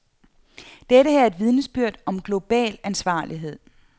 Det her er et vidnesbyrd om global ansvarlighed.